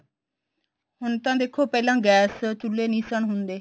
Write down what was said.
ਹੁਣ ਤਾਂ ਦੇਖੋ ਪਹਿਲਾਂ ਗੈਸ ਚੁਲੇ ਨਹੀਂ ਸਨ ਹੁੰਦੇ